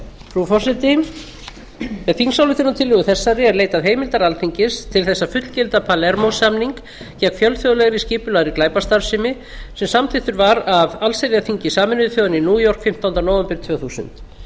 frú forseti með þingsályktunartillögu þessari er leitað heimildar alþingis til þess að fullgilda palermó samning gegn fjölþjóðlegri skipulagðri glæpastarfsemi sem samþykkur var af allsherjarþingi sameinuðu þjóðanna í new york fimmtánda nóvember árið tvö þúsund